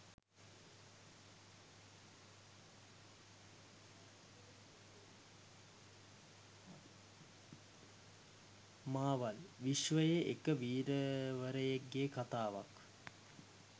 මාවල් විශ්වයේ එක වීරයෙක්ගේ කතාවක්.